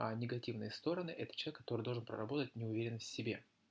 негативные стороны это человек который должен проработать неуверенность в себе